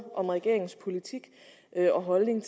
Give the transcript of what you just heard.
om regeringens politik og holdning